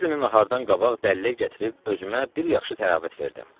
O biri günü nahardan qabaq dələyyə gətirib özümə bir yaxşı təravət verdim.